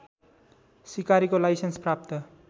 सिकारीको licence प्राप्त